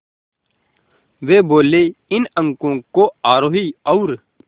वे बोले इन अंकों को आरोही और